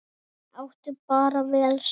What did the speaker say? Þau áttu bara vel saman!